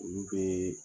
Olu bee